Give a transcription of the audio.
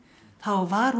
þá var hún